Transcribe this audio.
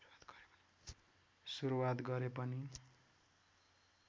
सुरुवात गरे पनि